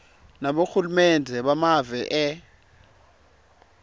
nabohulumende bemave e